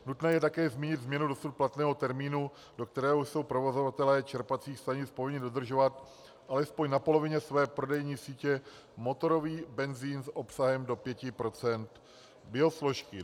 Nutné je také zmínit změnu dosud platného termínu, do kterého jsou provozovatelé čerpacích stanic povinni udržovat alespoň na polovině své prodejní sítě motorový benzin s obsahem do 5 % biosložky.